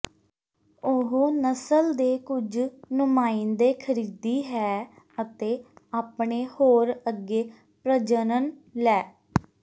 ਉਹ ਨਸਲ ਦੇ ਕੁਝ ਨੁਮਾਇੰਦੇ ਖਰੀਦੀ ਹੈ ਅਤੇ ਆਪਣੇ ਹੋਰ ਅੱਗੇ ਪ੍ਰਜਨਨ ਲੈ